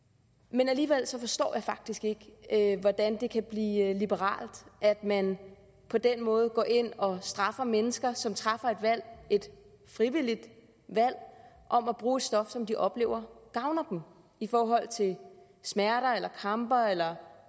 men alligevel forstår jeg faktisk ikke hvordan det kan blive liberalt at man på den måde går ind og straffer mennesker som træffer et valg et frivilligt valg om at bruge et stof som de oplever gavner dem i forhold til smerter kramper eller